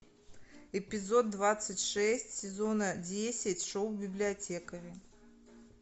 эпизод двадцать шесть сезона десять шоу библиотекари